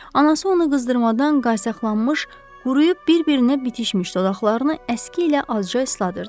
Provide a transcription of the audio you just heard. Anası ona qızdırmadan qaysaqlanmış, quruyub bir-birinə bitişmiş dodaqlarını əski ilə azca isladırdı.